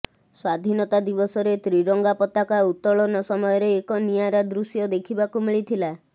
ସ୍ବାଧୀନତା ଦିବସରେ ତ୍ରିରଙ୍ଗା ପତାକା ଉତ୍ତୋଳନ ସମୟରେ ଏକ ନିଆରା ଦୃଶ୍ୟ ଦେଖିବାକୁ ମିଳିଥିଲା